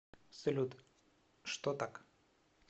салют что так